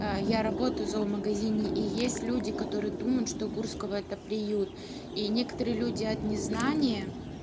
я работаю зоомагазине и есть люди которые думают что гурского это приют и некоторые люди от незнания